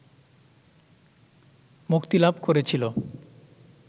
মুক্তি লাভ করেছিল